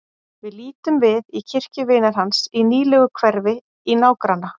Við lítum við í kirkju vinar hans í nýlegu hverfi í nágranna